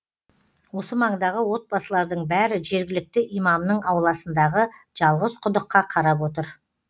осы маңдағы отбасылардың бәрі жергілікті имамның ауласындағы жалғыз құдыққа қарап отыр